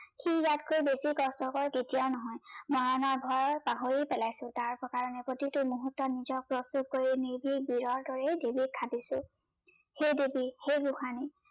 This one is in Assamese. সি ইয়াতকৈ বেছি কষ্টকৰ তেতিয়া নহয় মৰাৰ ভয় পাহৰি পেলাইছো তাৰ কাৰনে প্ৰতিটো মুহুৰ্তত নিজক প্ৰস্তুত কৰি নিজেই বীৰৰ দৰেই দেৱীক সাধিছো। হেই দেৱী হেই গোসানী